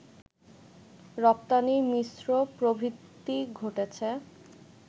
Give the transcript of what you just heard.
রপ্তানির মিশ্র প্রবৃদ্ধি ঘটেছে